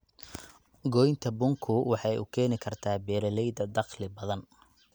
Goynta bunku waxay u keeni kartaa beeralayda dakhli badan.